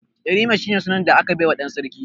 Yarima shine sunan da aka baiwa dan sarki.